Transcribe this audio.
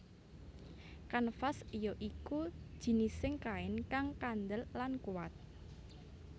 Kanvas ya iku jinising kain kang kandel lan kuat